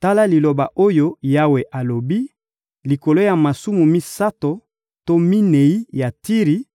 Tala liloba oyo Yawe alobi: «Likolo ya masumu misato to minei ya Tiri,